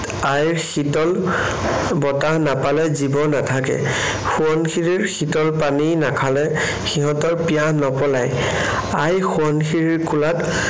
আইৰ শীতল বতাহ নাপালে জীৱ নাথাকে। সোৱণশিৰীৰ শীতল পানী নাখালে সিহঁতৰ পিয়াহ নপলায়। আই সোৱণশিৰীৰ কোলাত